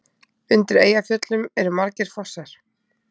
Undir Eyjafjöllum eru margir fossar.